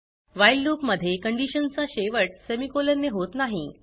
while loop मध्ये condition चा शेवट सेमिकोलॉन ने होत नाही